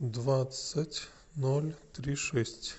двадцать ноль три шесть